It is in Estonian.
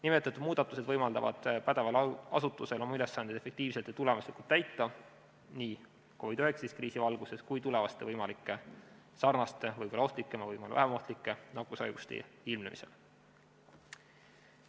Nimetatud muudatused võimaldavad pädeval asutusel oma ülesandeid efektiivselt ja tulemuslikult täita nii COVID-19 kriisi valguses kui ka tulevaste võimalike sarnaste, võib-olla rohkem, võib-olla vähem ohtlike nakkushaiguste ilmnemisel.